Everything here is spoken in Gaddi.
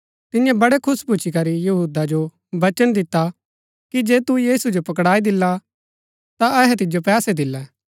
तियें बड़ै खुश भूच्ची करी यहूदा जो वचन दिता कि जे तू यीशु जो पकड़ाई दिला ता अहै तिजो पैसे दिल्लै